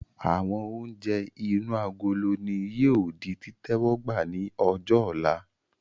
Àwọn oúnjẹ inú agolo ni yìí ó di títẹ́wọ́gbá ni ọjọ́ ọ̀la